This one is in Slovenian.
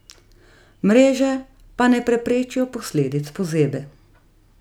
Mreže pa ne preprečijo posledic pozebe.